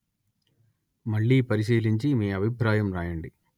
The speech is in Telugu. మళ్ళీ పరిశీలించి మీ అభిప్రాయం వ్రాయండి